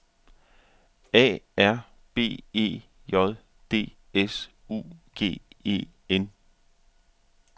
A R B E J D S U G E N